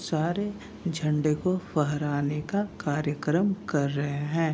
सारे झंडे को पहराने का कार्यकर्म कर रहे हैं।